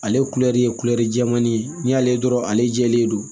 Ale kulɛri ye kulɛri jɛmani ye n'i y'ale dɔrɔn ale jɛlen don